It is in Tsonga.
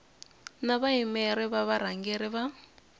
na vayimeri va varhangeri va